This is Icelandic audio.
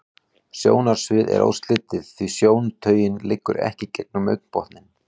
Sjónsviðið er óslitið, því sjóntaugin liggur ekki gegnum augnbotninn.